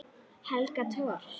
Helga Thors.